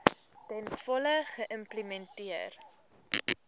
ten volle geïmplementeer